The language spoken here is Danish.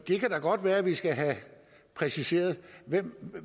kan da godt være at det skal præciseres hvem